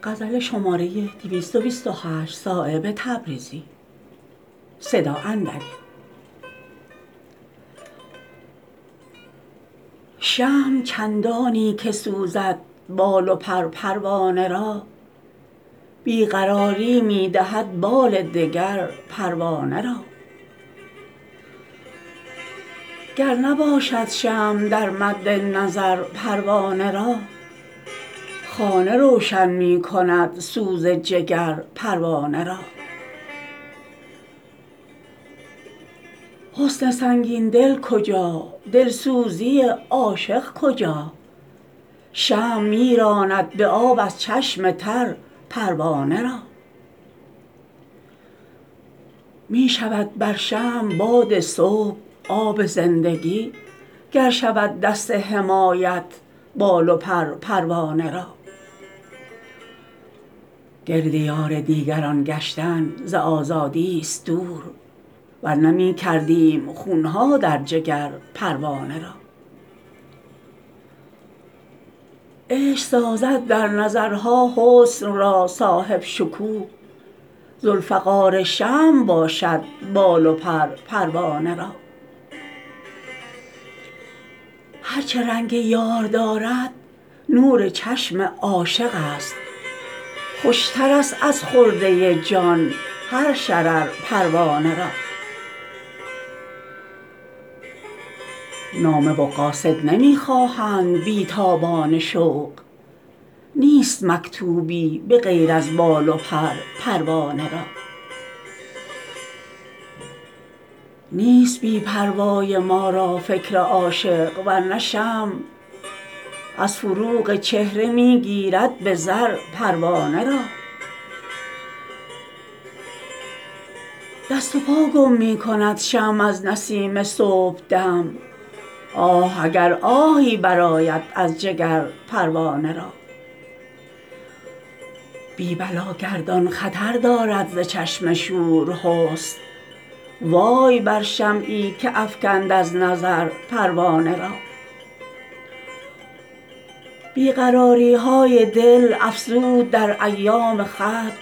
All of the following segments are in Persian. شمع چندانی که سوزد بال و پر پروانه را بی قراری می دهد بال دگر پروانه را گر نباشد شمع در مد نظر پروانه را خانه روشن می کند سوز جگر پروانه را حسن سنگین دل کجا دلسوزی عاشق کجا شمع می راند به آب از چشم تر پروانه را می شود بر شمع باد صبح آب زندگی گر شود دست حمایت بال و پر پروانه را گرد یار دیگران گشتن ز آزادی است دور ورنه می کردیم خونها در جگر پروانه را عشق سازد در نظرها حسن را صاحب شکوه ذوالفقار شمع باشد بال و پر پروانه را هر چه رنگ یار دارد نور چشم عاشق است خوشترست از خرده جان هر شرر پروانه را نامه و قاصد نمی خواهند بی تابان شوق نیست مکتوبی به غیر از بال و پر پروانه را نیست بی پروای ما را فکر عاشق ورنه شمع از فروغ چهره می گیرد به زر پروانه را دست و پا گم می کند شمع از نسیم صبحدم آه اگر آهی برآید از جگر پروانه را بی بلا گردان خطر دارد ز چشم شور حسن وای بر شمعی که افکند از نظر پروانه را بی قراری های دل افزود در ایام خط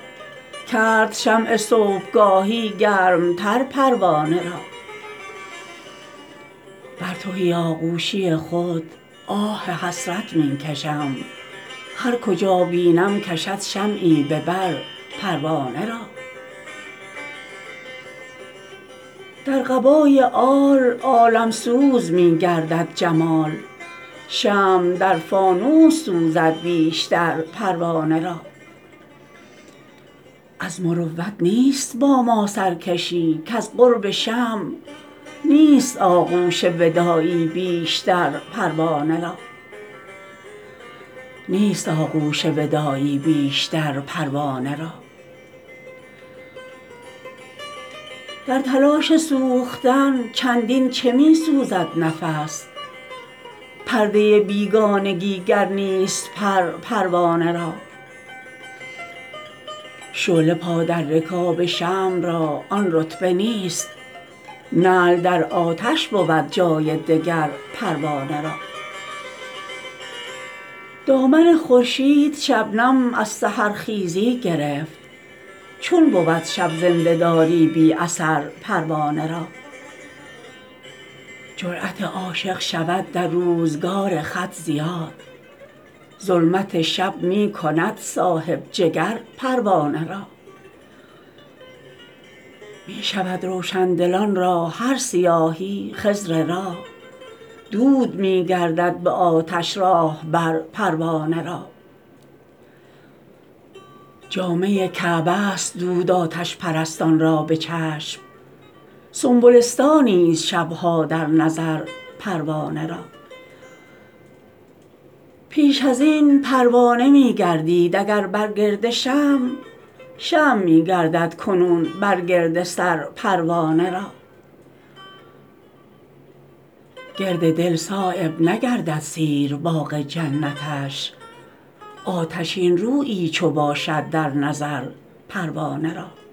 کرد شمع صبحگاهی گرمتر پروانه را بر تهی آغوشی خود آه حسرت می کشم هر کجا بینم کشد شمعی به بر پروانه را در قبای آل عالمسوز می گردد جمال شمع در فانوس سوزد بیشتر پروانه را از مروت نیست با ما سرکشی کز قرب شمع نیست آغوش وداعی بیشتر پروانه را در تلاش سوختن چندین چه می سوزد نفس پرده بیگانگی گر نیست پر پروانه را شعله پا در رکاب شمع را آن رتبه نیست نعل در آتش بود جای دگر پروانه را دامن خورشید شبنم از سحرخیزی گرفت چون بود شب زنده داری بی اثر پروانه را جرأت عاشق شود در روزگار خط زیاد ظلمت شب می کند صاحب جگر پروانه را می شود روشندلان را هر سیاهی خضر راه دود می گردد به آتش راهبر پروانه را جامه کعبه است دود آتش پرستان را به چشم سنبلستانی است شبها در نظر پروانه را پیش ازین پروانه می گردید اگر بر گرد شمع شمع می گردد کنون بر گردسر پروانه را گرد دل صایب نگردد سیر باغ جنتش آتشین رویی چو باشد در نظر پروانه را